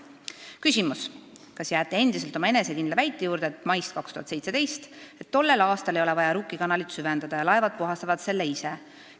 Esimene küsimus: "Kas jääte endiselt oma enesekindla väite juurde, maist 2017, et tollel aastal ei ole vaja Rukki kanalit süvendada ning laevad puhastavad selle ise?